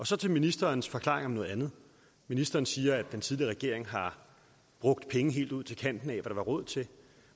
så til ministerens forklaring på noget andet ministeren siger at den tidligere regering har brugt penge helt ud til kanten af hvad der var råd til